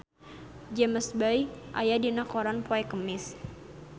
James Bay aya dina koran poe Kemis